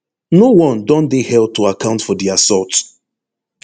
no one don dey held to account for di assault